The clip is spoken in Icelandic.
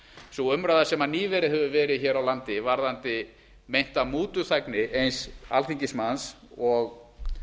sú umræða sem nýverið hefur verið hér á landi varðandi meinta mútuþægni eins alþingismanns og